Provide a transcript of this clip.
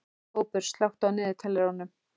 Kópur, slökktu á niðurteljaranum.